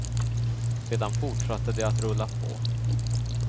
Sedan fortsatte det att rulla på.